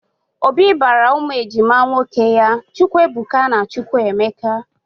Obi bara ụmụ ejima nwoke ya Chukwuebuka na Chukwuemeka